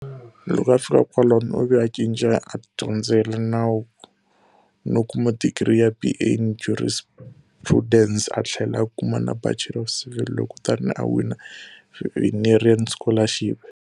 Loko a fika kwalano u ve a cinca a dyondzela nawu no kuma digri ya BA in Jurisprudence a tlhela a kuma na Bachelor of Civil Law, kutani a wina Vinerian Scholarship.